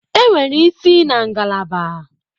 Enwere isi na ngalaba.